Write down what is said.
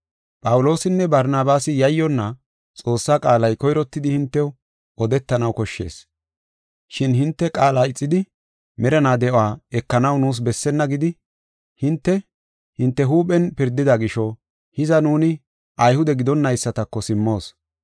Phawuloosinne Barnabaasi yayyonna, “Xoossaa qaalay koyrottidi hintew odetanaw koshshees. Shin hinte qaala ixidi merinaa de7uwa ekanaw nuus bessenna gidi hinte, hinte huuphen pirdida gisho hiza nuuni Ayhude gidonaysatako simmoos.